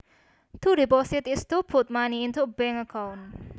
To deposit is to put money into a bank account